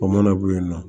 O mana bɔ yen nɔ